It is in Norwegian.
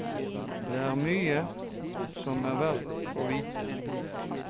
Det er mye som er verdt å vite.